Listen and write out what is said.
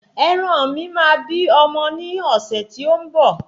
Ẹran mi máa bí ọmọ ní ọ̀sẹ̀ tí ó ń bọ̀